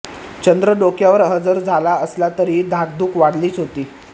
चंद्र डोक्यावर हजर झाला असला तरीही धाकधूक वाढलीच होती